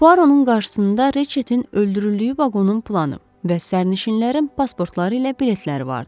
Puaronun qarşısında Reçetin öldürüldüyü vaqonun planı və sərnişinlərin pasportları ilə biletləri vardı.